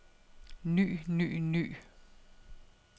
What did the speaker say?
ny ny ny